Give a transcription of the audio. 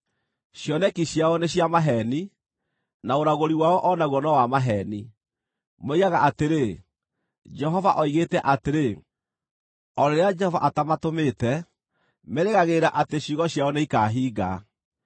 Cioneki ciao nĩ cia maheeni, na ũragũri wao o naguo no wa maheeni. Moigaga atĩrĩ, “Jehova oigĩte atĩrĩ,” o rĩrĩa Jehova atamatũmĩte; merĩgagĩrĩra atĩ ciugo ciao nĩikahinga!